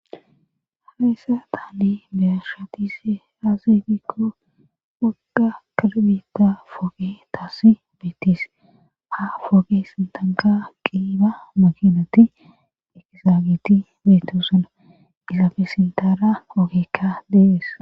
Hayssa taane beashatise aazeegikko wagga kalbita foge taasi beetis ha foge sintanka qiiba makinati ekizaagiti beetosuna gilafe sintara ogeekka dehees.